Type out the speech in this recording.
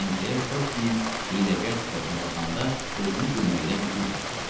Senkler Topsinin hiyləgər sifətinə baxanda özünü gülməkdən güclə saxladı.